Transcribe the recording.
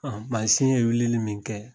Mansin ye wulili min kɛ